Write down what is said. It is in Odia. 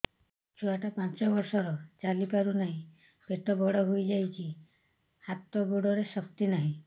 ଛୁଆଟା ପାଞ୍ଚ ବର୍ଷର ଚାଲି ପାରୁ ନାହି ପେଟ ବଡ଼ ହୋଇ ଯାଇଛି ହାତ ଗୋଡ଼ରେ ଶକ୍ତି ନାହିଁ